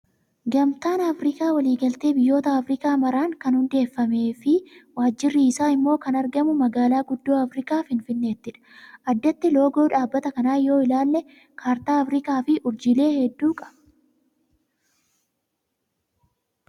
Gamtaan Afrikaa walii galtee biyyoota Afrikaa maraan kan hundeeffamee fi waajirri hojii isaa immoo kan argamu magaalaa guddoo Afrikaa Finfinneettidha. Addatti loogoo dhaabbata kanaa yoo ilaalle kaartaa afrikaa fi urjiilee hedduu qaba.